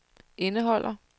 indeholder